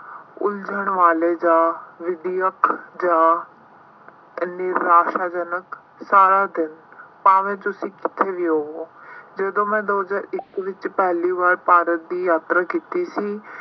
ਉਲਝਣ ਵਾਲੇ ਜਾਂ ਵਿੱਦਿਆਕ ਜਾਂ ਨਿਰਾਸ਼ਾਜਨਕ ਸਾਰਾ ਦਿਨ ਭਾਵੇਂ ਤੁਸੀਂ ਕਿਤੇ ਵੀ ਹੋਵੋਂ ਜਦੋਂ ਮੈਂ ਦੋ ਹਜ਼ਾਰ ਇੱਕ ਵਿੱਚ ਪਹਿਲੀ ਵਾਰ ਭਾਰਤ ਦੀ ਯਾਤਰਾ ਕੀਤੀ ਸੀ।